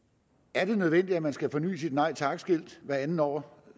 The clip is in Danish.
er det nødvendigt at man skal forny sit nej tak skilt hvert andet år